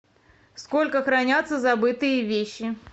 сколько хранятся забытые вещи